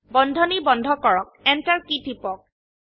বন্ধনী বন্ধ কৰক Enter কী টিপক